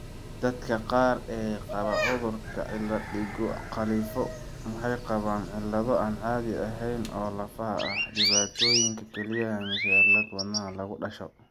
Dadka qaar ee qaba cudurka cilad digo khalifo' waxay qabaan cillado aan caadi ahayn oo lafaha ah, dhibaatooyinka kelyaha, mise cillad wadnaha lagu dhasho.